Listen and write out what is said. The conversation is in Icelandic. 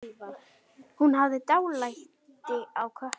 Hún hafði dálæti á köttum.